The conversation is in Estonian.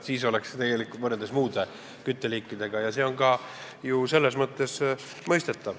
Siis oleks see võrreldes muude kütteliikidega väga soodne.